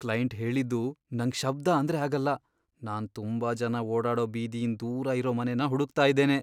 Client ಹೇಳಿದ್ದು, ನಂಗ್ ಶಬ್ಧ ಅಂದ್ರೆ ಆಗಲ್ಲ, ನಾನ್ ತುಂಬಾ ಜನ ಓಡಾಡೋ ಬೀದಿಯಿಂದ್ ದೂರ ಇರೋ ಮನೆನ ಹುಡುಕ್ತಾ ಇದ್ದೇನೆ .